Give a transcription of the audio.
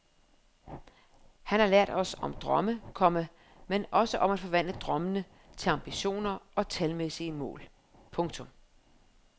Han har lært os om drømme, komma men også om at forvandle drømmene til ambitioner og talmæssige mål. punktum